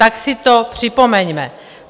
Tak si to připomeňme.